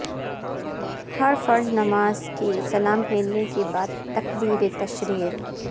ہر فرض نماز کے سلام پھیرنے کے بعد تکبیر تشریق